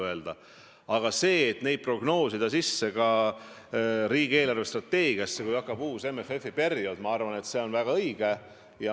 Aga prognoosida uue MFF-i summad ka riigi eelarvestrateegiasse on minu arvates väga õige.